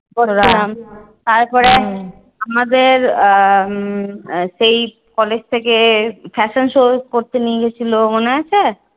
আমাদের আহ উম সেই college থেকে fashion show করতে নিয়ে গেছিলো মনে আছে?